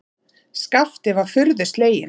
Skapti var furðu sleginn.